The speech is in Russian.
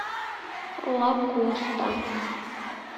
лакоста